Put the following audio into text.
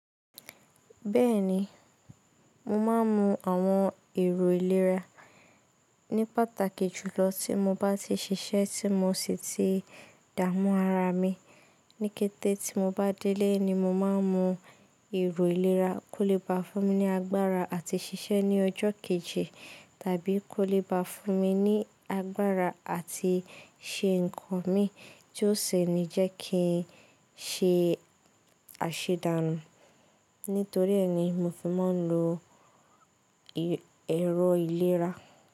Bẹ́ẹ̀ni, mo máa ń mu àwọn èrò ìlera ní pàtàkì jùlọ tí mo bá ti ṣiṣẹ́ tí mo sì ti dààmú ara mi. Níkété tí mo bá délé ni mo máa ń mu èrò ìlera kó lè bá fún mi ní agbára àti ṣiṣẹ́ ní ọjọ́ kejì tàbí kó lè bá fún mi ní agbára àti ṣe ǹkan mi tí ó sì ní jẹ́ kí n ṣe àṣedàànù. Nítorí ẹ́ ni mo fi máa ń lo èrò ìlera.